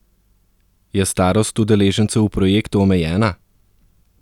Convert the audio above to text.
Je starost udeležencev v projektu omejena?